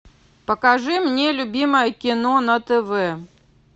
покажи мне любимое кино на тв